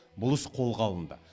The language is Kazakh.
бұл іс қолға алынды